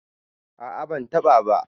a a bantaba ba